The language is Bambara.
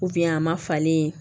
a ma falen